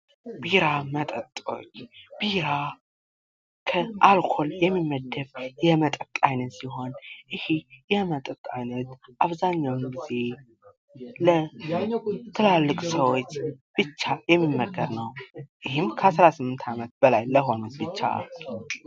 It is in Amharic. ቢራ መጠጦች ቢራ ከአልኮል የሚመደብ የመጠጥ አይነት ሲሆን ይህ የመጠጥ አይነት አብዛኛውን ጊዜ ለትላልቅ ሰዎች ብቻ የሚመከር ነው::ይህም ከ18 አመት በላይ ለሆኑት ብቻ ::